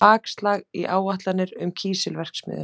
Bakslag í áætlanir um kísilverksmiðju